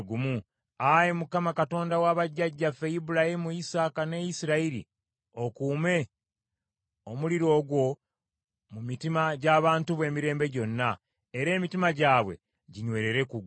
Ayi Mukama , Katonda wa bajjajjaffe Ibulayimu, Isaaka, ne Isirayiri, okuume omuliro ogwo mu mitima gy’abantu bo emirembe gyonna, era emitima gyabwe ginywerere ku gwe.